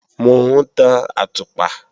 Mò ń tan àtùpà